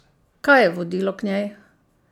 Kaj je vodilo k njej?